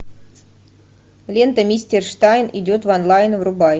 лента мистер штайн идет в онлайн врубай